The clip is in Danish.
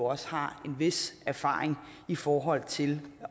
også har en vis erfaring i forhold til